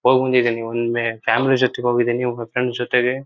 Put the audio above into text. ಹೋಗ್ಬಂದಿದೀನಿ. ಒಮ್ಮೆ ಫ್ಯಾಮಿಲಿ ಜೊತೆಗೆ ಹೋಗಿದೀನಿ ಒಮ್ಮೆ ಫ್ರೆಂಡ್ಸ್ ಜೊತೆಗೆ.